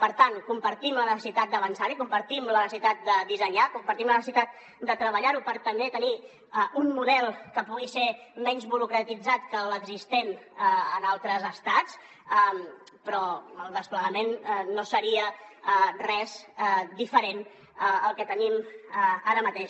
per tant compartim la necessitat d’avançar hi compartim la necessitat de dissenyar compartim la necessitat de treballar ho per també tenir un model que pugui ser menys burocratitzat que l’existent en altres estats però el desplegament no seria res diferent al que tenim ara mateix